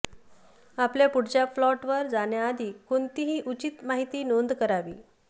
आपल्या पुढच्या प्लॉटवर जाण्याआधी कोणतीही उचित माहिती नोंद करावी